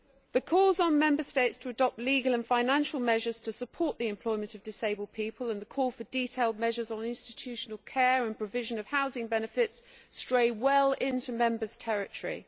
The calls on Member States to adopt legal and financial measures to support the employment of disabled people and the call for detailed measures on institutional care and provision of housing benefits stray well into Member States' territory.